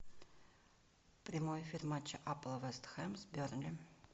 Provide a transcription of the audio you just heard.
прямой эфир матча апл вест хэм с бернли